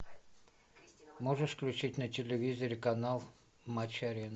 можешь включить на телевизоре канал матч арена